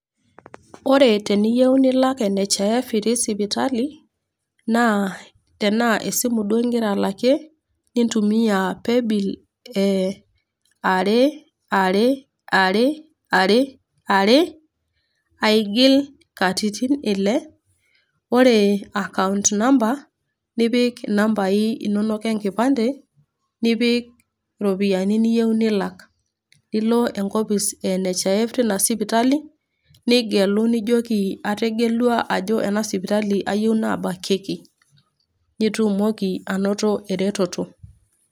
Ore teniyiu nilak NHIF itii sipitali, naa tena esimu duo ingira alakie nintumia playbill e are, are, are, aigil katitin Ile ore akaount namba nipik inambai inono enkipande, nipik iropiani niyou nilak, nilo enkop e NHIF teina sipitali, nigelu nijoki ategelua ajo ayou neaku ena sipitali ayou nabakieki. Nitumoki ainoto eretoto.